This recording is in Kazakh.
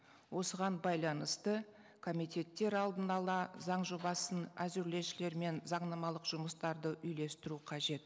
осыған байланысты комитеттер алдын ала заң жобасын әзірлеушілермен заңнамалық жұмыстарды үйлестіру қажет